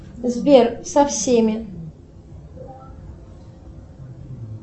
сбер со всеми